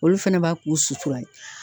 Olu fɛnɛ b'a k'u sutura ye